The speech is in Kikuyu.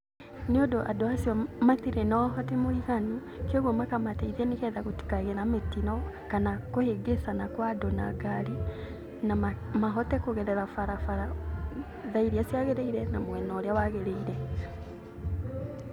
Nĩũndũ andũ acio matirĩ na ũhoti mũiganu kwoguo makamateithia nĩ getha gũtikagĩe na mĩtino kana kũhĩngĩcana kwa andũ na ngari na mahote kũgerera barabara tha iria ciagĩrĩire na mwena ũrĩa wagĩrĩire.